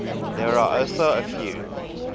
there are also a few